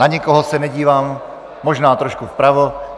Na nikoho se nedívám, možná trošku vpravo.